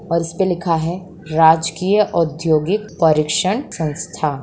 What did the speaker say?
और इसपे लिखा है राजकीय औद्योगिक परिक्षण संस्था।